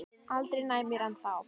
Aldrei nær mér en þá.